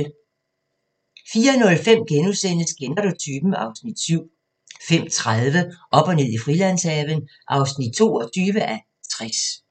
04:05: Kender du typen? (Afs. 7)* 05:30: Op og ned i Frilandshaven (22:60)